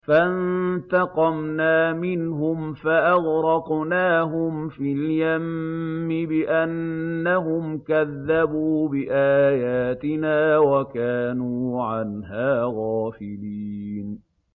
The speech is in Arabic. فَانتَقَمْنَا مِنْهُمْ فَأَغْرَقْنَاهُمْ فِي الْيَمِّ بِأَنَّهُمْ كَذَّبُوا بِآيَاتِنَا وَكَانُوا عَنْهَا غَافِلِينَ